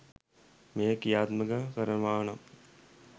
මෙය ක්‍රියාත්මක කරනවානම්